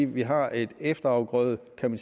vi har et efterafgrødesystem